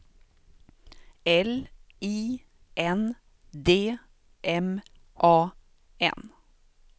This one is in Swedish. L I N D M A N